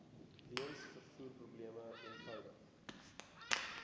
weens vervoerprobleme eenvoudig